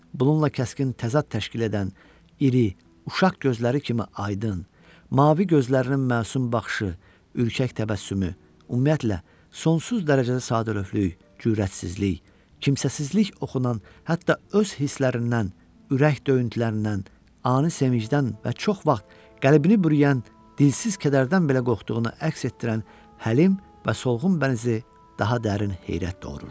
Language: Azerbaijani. Bununla kəskin təzad təşkil edən iri uşaq gözləri kimi aydın, mavi gözlərinin məsum baxışı, ürkək təbəssümü, ümumiyyətlə, sonsuz dərəcədə sadəlövhlük, cürrətsizlik, kimsəsizlik oxunan, hətta öz hisslərindən, ürək döyüntülərindən, ani sevincdən və çox vaxt qəlbini bürüyən dilsiz kədərdən belə qorxduğunu əks etdirən həlim və solğun bənzi daha dərin heyrət doğururdu.